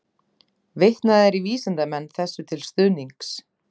Vitnað er í vísindamenn þessu til stuðnings.